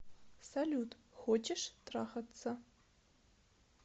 салют хочешь трахаться